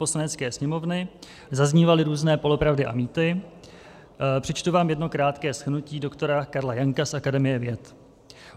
Poslanecké sněmovny zaznívaly různé polopravdy a mýty, přečtu vám jedno krátké shrnutí doktora Karla Janka z Akademie věd.